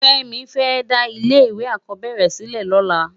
Femi fè dá ilé èkò akòbèrè silè lòlá